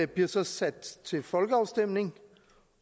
bliver så sendt til folkeafstemning